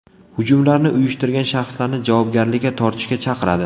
Hujumlarni uyushtirgan shaxslarni javobgarlikka tortishga chaqiradi.